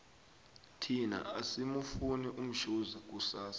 thina asimufuni umshoza kusasa